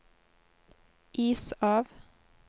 is av